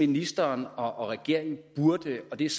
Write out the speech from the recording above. ministeren og regeringen burde og det er